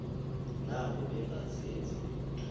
nabo bengazenzi lutho